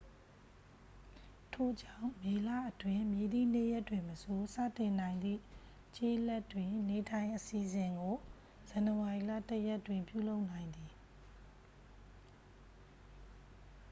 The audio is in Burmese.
ထို့ကြောင့် မေလအတွင်း မည်သည့်နေ့ရက်တွင်မဆို စတင်နိုင်သည့် ကျေးလက်တွင် နေထိုင် အစီစဉ်ကို ဇန်နဝါရီလ 1 ရက်တွင် ပြုလုပ်နိုင်သည်